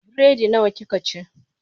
Biredi nawa kika ci?